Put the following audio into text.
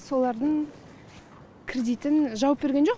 солардың кредитін жауып берген жоқ